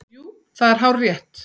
Jú, það er hárrétt